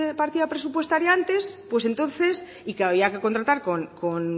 partida presupuestaria antes pues entonces y que había que contratar con